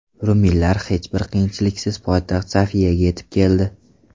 Ruminlar hech bir qiyinchiliksiz poytaxt Sofiyaga yetib keldi.